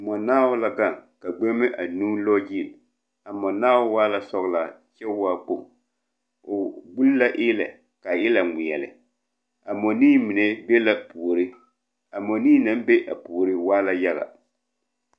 Mͻnaao la gaŋ, ka gbeŋime anuu lͻͻ gyili. A mͻnaa waa la sͻgelaa kyԑ waa kpoŋ. O buli la eelԑ ka a eelԑ ŋmeԑle. A mͻnii mine be la puori. A mͻnii naŋ be a puori waa la yaga.